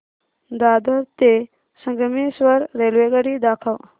दादर ते संगमेश्वर रेल्वेगाडी दाखव